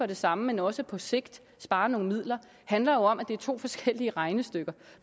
det samme men også på sigt spare nogle midler handler om at det er to forskellige regnestykker